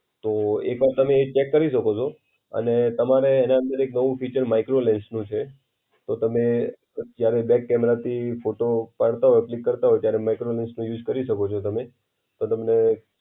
તો એક વાર તમે એ ચેક કરી શકો છો. અને તમારે એના અંદર એક નવું ફીચર માઈક્રો લેન્સ નું છે. તો તમે ક્યારે બેક કેમેરાથી ફોટો પડતા હો ક્લિક કરતા હો ત્યારે માઈક્રો લેન્સનો યુઝ કરી શકો છો તમે. તો તમને